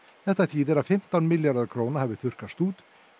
þetta þýðir að fimmtán milljarðar króna hafi þurrkast út